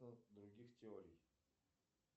других теорий